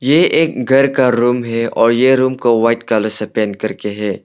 ये एक घर का रूम है और यह रूम को व्हाइट कलर से पेंट करके है।